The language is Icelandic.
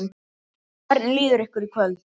Hvernig líður ykkur í kvöld?